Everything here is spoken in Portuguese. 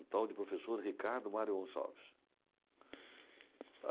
O tal de professor Ricardo Mário Gonçalves.